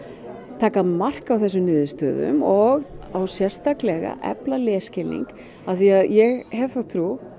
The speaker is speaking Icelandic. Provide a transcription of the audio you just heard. taka mark á þessum niðurstöðum og efla lesskilning af því að ég hef þá trú